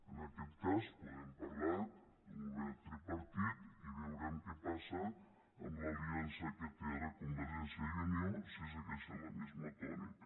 en aquest cas podem parlar d’un govern tripartit i veurem què passa amb l’aliança que té ara convergència i unió si segueixen la mateixa tònica